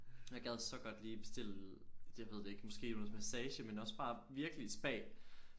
Jeg gad så godt lige bestille det ved det ikke måske noget massage men også bare virkelig spa